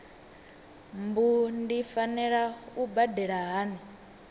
mbu ndi fanela u badela hani